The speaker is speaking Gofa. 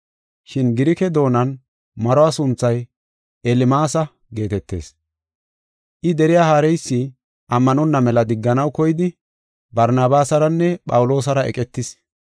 Shin Girike doonan maruwa sunthay “Elmaasa” geetetees. I deriya haareysi ammanonna mela digganaw koyidi Barnabaasaranne Phawuloosara eqetis.